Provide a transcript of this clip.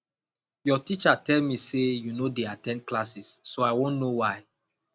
your teacher tell me say you no dey at ten d classes so i wan know why